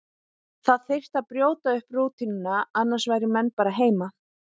Það þyrfti að brjóta upp rútínuna, annars færu menn bara heim.